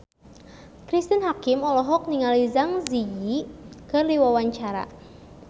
Cristine Hakim olohok ningali Zang Zi Yi keur diwawancara